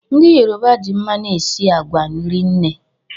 Ndị Yoruba ji mmanụ esi agwa rinne